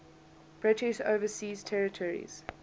british overseas territories